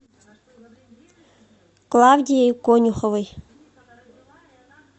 клавдией конюховой